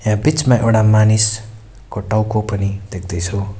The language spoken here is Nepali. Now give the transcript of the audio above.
बीचमा एउरा मानिस को टाउको पनि देख्दै छु।